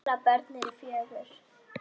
Þeirra börn eru fjögur.